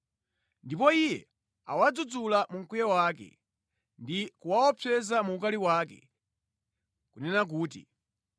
Ndipo iye awadzudzula mu mkwiyo wake ndi kuwaopseza mu ukali wake, kunena kuti,